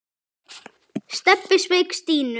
Stebbi sveik Stínu.